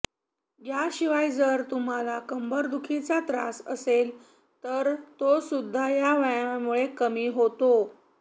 याशिवाय जर तुम्हाला कंबरदुखीचा त्रास असेल तर तोसुद्धा या व्यायामामुळे कमी होतो